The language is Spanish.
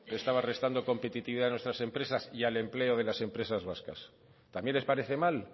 le estaba restando competitividad a nuestras empresas y al empleo de las empresas vascas también les parece mal